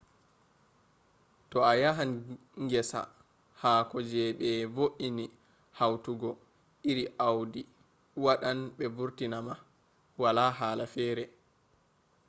to a yahan gesa haako je be vo’ini hautugo iri audi” wadan be vurtina ma wala hala fere